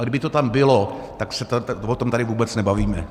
A kdyby to tam bylo, tak se o tom tady vůbec nebavíme.